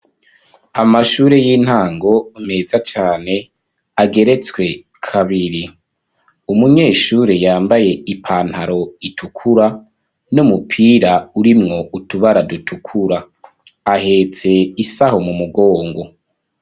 Amashure y'intango meza cane ageretswe kabiri. Umunyeshure yambaye ipantaro itukura n'umupira urimwo utubara dutukura. Ahetse isaho mu mugongo.